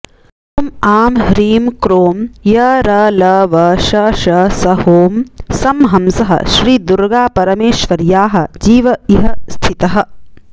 ॐ आं ह्रीं क्रों यरलवशषसहोऽं सं हंसः श्री दुर्गापरमेश्वर्याः जीव इह स्थितः